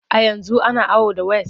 A yanzu ana awo da ways.